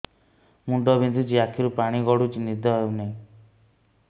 ମୁଣ୍ଡ ବିନ୍ଧୁଛି ଆଖିରୁ ପାଣି ଗଡୁଛି ନିଦ ହେଉନାହିଁ